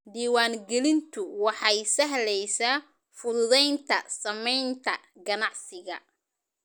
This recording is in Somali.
Diiwaangelintu waxay sahlaysa fududaynta samaynta ganacsiga.